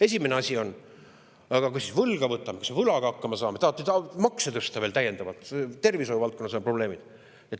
Esimene asi on see: aga kui me võlga võtame, kuidas me siis võlaga hakkama saame, kas tahate makse veel täiendavalt tõsta, ka tervishoiu valdkonnas on probleemid?